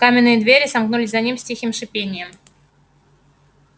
каменные двери сомкнулись за ними с тихим шипением